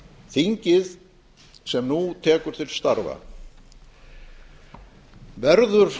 þingið sem nú tekur til starfa verður